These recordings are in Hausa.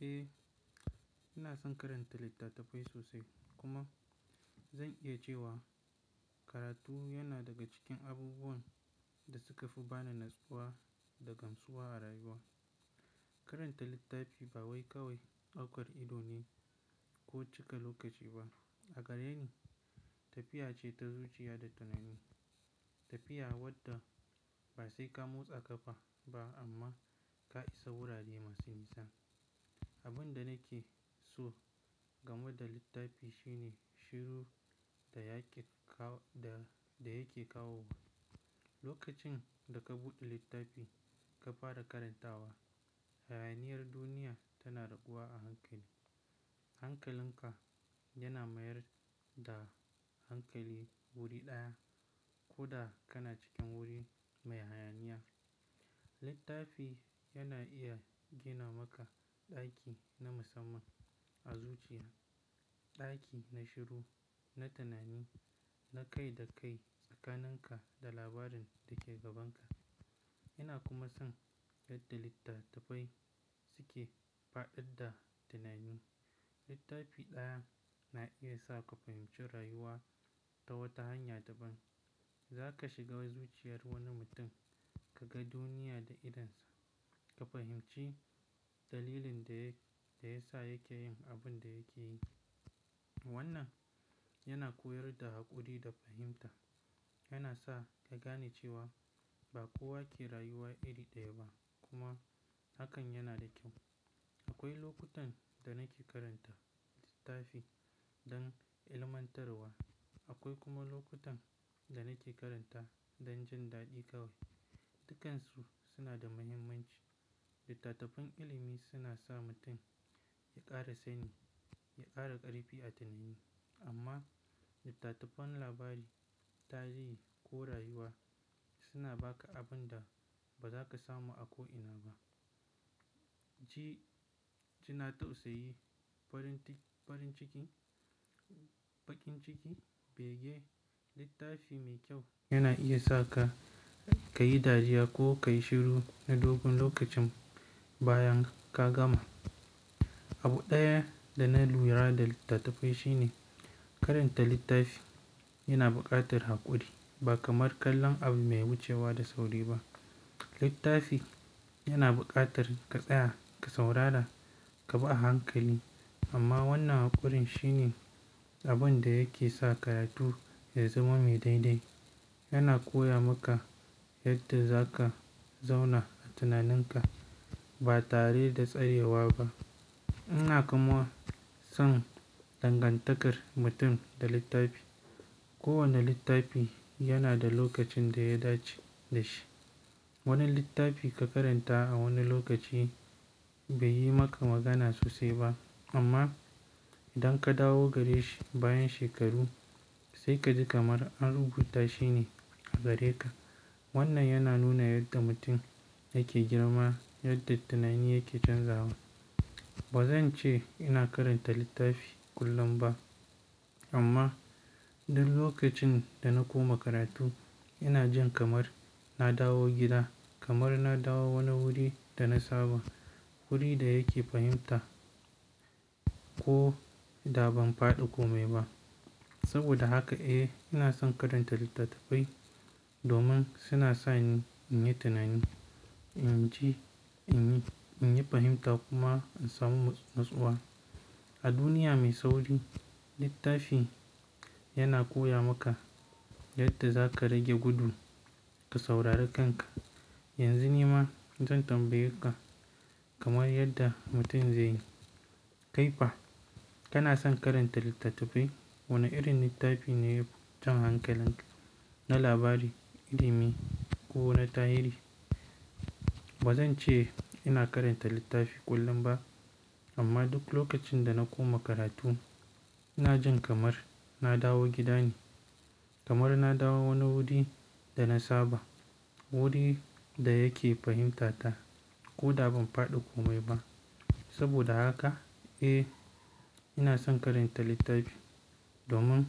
Eh, ina son karanta littattafai sosai kuma zan iya cewa karatu yana daga cikin abubuwan da suka fi bani natsuwa da gamsuwa a rayuwa. Karanta littafi ba wai kawai daukar ido ne ko cika lokaci ba, a gareni tafiya ce ta zuciya da tunani. Tafiya wadda ba sai ka motsa kafa ba amma ka isa wurare masu nisa. Abin da nake so game da littafi shine shiru da yake kawo. Lokacin da ka buɗe littafi ka fara karantawa, hayaniyar duniya tana raguwa a hankali. Hankalinka yana mayar da hankali wuri ɗaya koda kana cikin wuri mai hayaniya. Littafi yana iya gina maka ɗaki na musamman a zuciya, ɗaki na shiru, na tunani, na kai da kai tsakaninka da labarin da ke gabanka. Ina kuma son yadda littattafai suke fada da tunani. Littafi ɗaya na iya sa ka fahimci rayuwa ta wata hanya daban. Za ka shiga zuciyar wani mutum ka ga duniya da idonsa, ka fahimci dalilin da ya sa yake yin abin da yake yi. Wannan yana koyar da haƙuri da fahimta. Yana sa ka gane cewa ba kowa ke rayuwa iri ɗaya ba kuma hakan yana da kyau. Akwai lokutan da nake karanta littafi don ilmantarwa, akwai kuma lokutan da nake karanta don jin daɗi kawai. Dukansu suna da muhimmanci. Littattafan ilimi suna sa mutum ya ƙara sani, ya ƙara ƙarfi a tunani amma littattafan labari, tarihi ko rayuwa suna ba ka abin da ba za ka samu a ko ina ba. Jina tausayi, baƙin ciki, bege, littafi mai kyau yana iya sa ka yi dariya ko ka yi shiru na dogon lokacin bayan ka gama. Abu ɗaya da na lura da littattafai shine karanta littafi yana buƙatar haƙuri. Ba kamar kallon abu mai wucewa da sauri ba. Littafi yana buƙatar ka tsaya, ka saurara, ka bi a hankali amma wannan haƙurin shine abin da yake sa karatu ya zama mai daidai. Yana koya maka yadda za ka zauna a tunaninka ba tare da tsarewa ba. Ina kuma son dangantakar mutum da littafi. Kowane littafi yana da lokacin da ya dace da shi. Wani littafi ka karanta a wani lokaci bai yi maka magana sosai ba amma idan ka dawo gare shi bayan shekaru sai kaji kamar an rubuta shi ne a gare ka. Wannan yana nuna yadda mutum yake girma, yadda tunani yake canzawa. Ba zan ce ina karanta littafi kullum ba amma duk lokacin da na koma karatu ina jin kamar na dawo gida, kamar na dawo wani wuri da na saba, wuri da yake fahimta ko da ban faɗi komai ba. Saboda haka eh, ina son karanta littattafai domin suna sa ni in yi tunani, in ji, in yi fahimta kuma in samu natsuwa. A duniya mai sauri, littafi yana koya maka yadda za ka rage gudu ka saurari kanka. Yanzu ni ma zan tambaye ka kamar yadda mutum zai yi, "Kai fa kana son karanta littattafai? Wane irin littafi ne ya fi can hankalin ka, na labari, ilimi ko na tarihi?" Ba zan ce ina karanta littafi kullum ba amma duk lokacin da na koma karatu ina jin kamar na dawo gidane, kamar na dawo wani wuri da na saba, wuri da yake fahimtata ko da ban faɗi komai ba. Saboda haka eh, ina son karanta littafi domin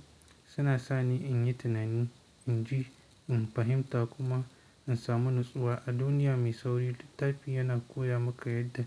suna sa ni in yi tunani, in ji, in fahimta kuma in samu natsuwa. A duniya mai sauri, littafi yana koya maka yadda.